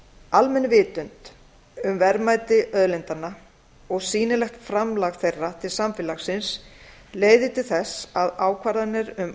almenn vitund um verðmæti auðlindanna og sýnilegt framlag þeirra til samfélagsins leiðir til þess að ákvarðanir um